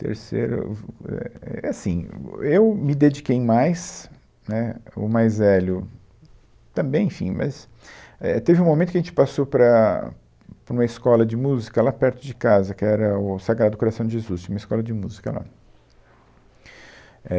Terceiro, uf, éh, é assim, eu me dediquei mais, né, o mais velho também, enfim, mas, éh, teve um momento que a gente passou para, para uma escola de música lá perto de casa, que era o Sagrado Coração de Jesus, tinha uma escola de música lá. Éh,